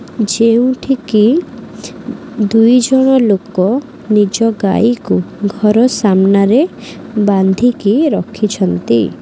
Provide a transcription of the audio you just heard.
ଯେଁଉଠିକି ଦୁଇଜଣ ଲୋକ ନିଜ ଗାଈ କୁ ଘର ସାମ୍ନା ରେ ବାନ୍ଧିକି ରଖିଛନ୍ତି।